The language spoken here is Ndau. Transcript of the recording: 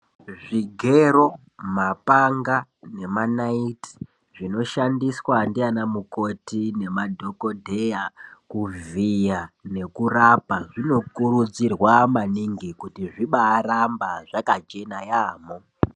Zvigero, mapanga nemanaiti zvinoshandiswa ndiana mukoti nemadhokodheya kuvhiya nekurapa zvinokurudzirwa maningi kuti zvibaramba zvakajeda yaamho.